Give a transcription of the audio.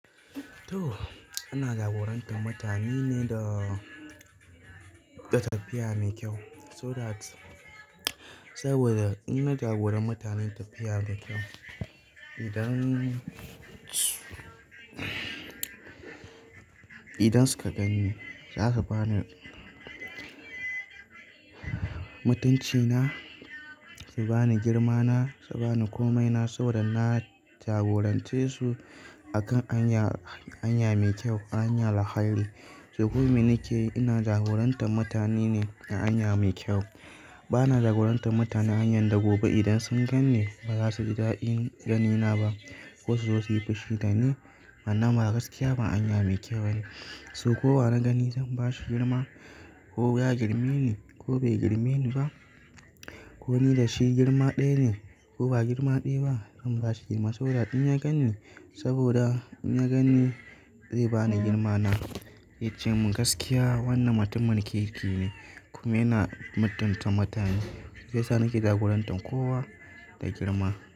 To, ana jagorantar mutane ne da, da tafiya mai kyau so that, saboda inna jagora mutane tafiya mai kyau. Idan, idan suka ganni za su bani mutuncina, su bani girmana, su bani komaina saboda na jagorance su akan hanya, hanya mai kyau, hanya alhairi. Se kuma me nake ina jagorantar mutane ne a hanya mai kyau. Bana jagorantar mutane hanyar da gobe idan sun ganni ba za su ji da'in ganina ba ko su zo su yi fushi dani. Amma gaskiya ba hanya mai kyau ba ne. So kowa na gani zan bashi girma ko ya girmeni ko bai girmeni ba. Ko ni da shi girma ɗaya ne ko ba girma ɗaya ba, zan bashi girma saboda in ya ganni. Saboda in ya ganni zai bani girmana, yace mun gaskiya wannan mutumin kirki ne. Kuma yana mutunta mutane, shiya sa nake jagorantar kowa da girma.